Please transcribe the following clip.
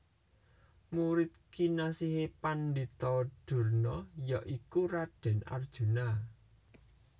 Murid kinasihe Pandhita Durna ya iku Raden Arjuna